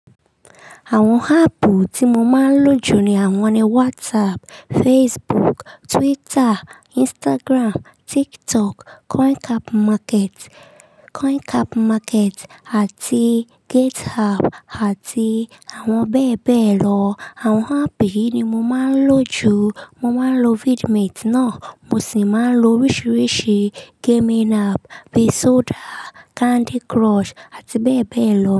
Àwọn app tí mo máa ń lò jù ní àwọn ni WhatsApp, Facebook, Twitter, Instagram, TikTok, CoinCap Market, CoinCap Market àti GitHub àti àwọn bẹ́ẹ̀ bẹ́ẹ̀ lọ. Àwọn app yìí ni mo máa ń lò jù. Mo máa ń lo vidmate ná. Mo sì máa ń lo oríṣiríṣi gaming app; Pesoda, Candy Crush àti bẹ́ẹ̀ bẹ́ẹ̀ lọ.